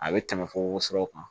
A bɛ tɛmɛ fo worosɔrɔ kan